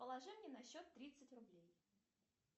положи мне на счет тридцать рублей